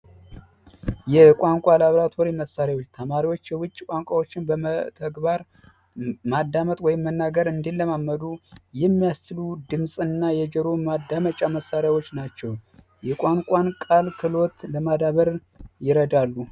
የቋንቋ ላብራቶሪ መሣሪያ ተማሪዎች የውጭ ቋንቋዎችን በተግባር ማዳመጥ ወይም መናገር እንዲለማመዱ የሚያስትሉ ድም እና የጆሮ ማዳመጫ መሳሪያዎች ናቸው የቋንቋን ቃል ለማዳበርን ይረዳሉ